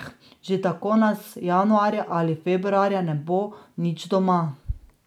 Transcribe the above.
Že tako nas januarja ali februarja ne bo nič doma.